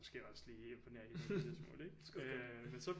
Måske også lige imponere hende på det der tidspunkt ikke men så